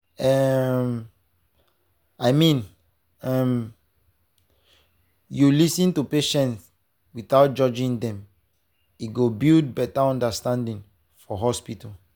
um i mean if um you lis ten to patients without judging dem e go build better understanding for hospital.